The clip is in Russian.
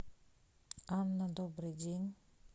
анна добрый день